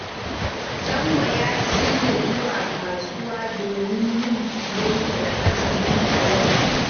Sambo ya shirya zuwa kasuwa domin yin siyayyar azumi a yau